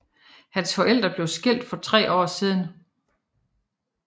Hans forældre blev skilt for tre år siden